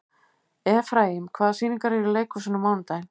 Efraím, hvaða sýningar eru í leikhúsinu á mánudaginn?